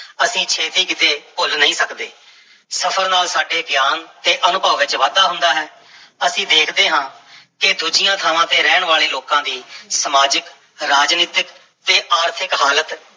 ਅਸੀਂ ਛੇਤੀ ਕਿਤੇ ਭੁੱਲ ਨਹੀਂ ਸਕਦੇ, ਸਫ਼ਰ ਨਾਲ ਸਾਡੇ ਗਿਆਨ ਤੇ ਅਨੁਭਵ ਵਿੱਚ ਵਾਧਾ ਹੁੰਦਾ ਹੈ ਅਸੀਂ ਦੇਖਦੇ ਹਾਂ ਕਿ ਦੂਜੀਆਂ ਥਾਵਾਂ ਤੇ ਰਹਿਣ ਵਾਲੇ ਲੋਕਾਂ ਦੀ ਸਮਾਜਿਕ, ਰਾਜਨੀਤਕ ਤੇ ਆਰਥਿਕ ਹਾਲਤ